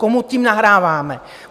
Komu tím nahráváme?